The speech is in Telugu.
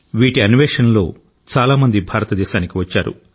వీటి అన్వేషణలో చాలా మంది భారతదేశానికి వచ్చారు